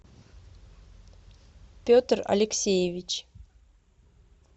петр алексеевич